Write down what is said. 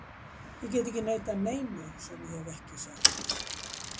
Ég get ekki neitað neinu sem ég hef ekki sagt.